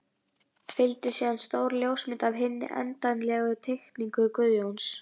Fylgdi síðan stór ljósmynd af hinni endanlegu teikningu Guðjóns.